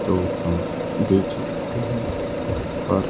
तो हम देख ही सकते है और--